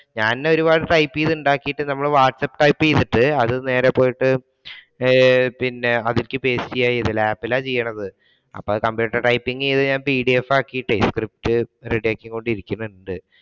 ഞാൻ ഒരുപാട് ടൈപ്പ് ചെയ്തു ഉണ്ടാക്കിയിട്ട് നമ്മൾ വാട്ടസ്ആപ് ടൈപ്പ് ചെയ്തിട്ട് അത് നേരെ പോയിട്ട് പിന്നെ ലാപ്പിലാണ് ചെയ്യുന്നത് അപ്പൊ computer typing ചെയ്തു കഴിയുമ്പോ പിഡിഎഫ് ആകിയിട്ടേ സ്ക്രിപ്റ്റ് ready ആക്കി കൊണ്ടിരിക്കുന്നുണ്ട്.